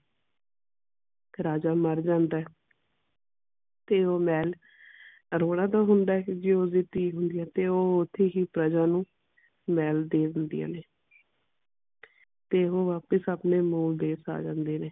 ਰਾਜਾ ਮਰ ਜਾਂਦਾ ਹੈ ਤੇ ਉਹ ਮਹਿਲ ਅਰੋੜਾ ਦਾ ਹੁੰਦਾ ਹੈ ਜੋ ਉਸਦੀ ਧੀ ਹੁੰਦੀ ਹੈ ਤੇ ਉਹ ਓਥੇ ਹੀ ਪ੍ਰਜਾ ਨੂੰ ਮਹਿਲ ਦੇ ਦਿੰਦੀਆਂ ਨੇ ਤੇ ਉਹ ਵਾਪਸ ਆਪਣੇ ਮੂਲ ਦੇਸ਼ ਆ ਜਾਂਦੇ ਨੇ।